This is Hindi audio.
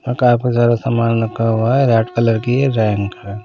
और काफी सारा सामान रखा हुआ है रेड कलर की रैंक है।